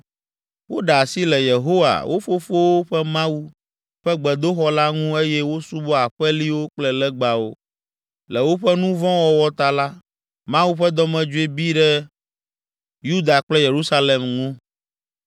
Woɖe asi le Yehowa, wo fofowo ƒe Mawu, ƒe gbedoxɔ la ŋu eye wosubɔ aƒeliwo kple legbawo. Le woƒe nu vɔ̃ wɔwɔ ta la, Mawu ƒe dɔmedzoe bi ɖi Yuda kple Yerusalem ŋu.